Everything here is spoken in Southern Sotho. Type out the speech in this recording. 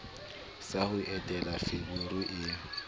sa ho entela feberu e